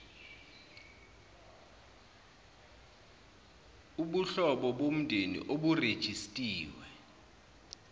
ubuhlobo bomndeni oburejistiwe